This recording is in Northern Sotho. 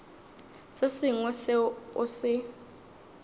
se sengwe seo o se